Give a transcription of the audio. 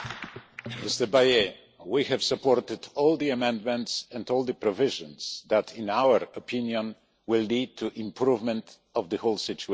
Mr Bayet, we have supported all the amendments and all the provisions that, in our opinion, will lead to an improvement in the whole situation.